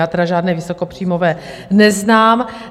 Já tedy žádné vysokopříjmové neznám.